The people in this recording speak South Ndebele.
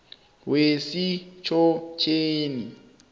wesitjhotjheni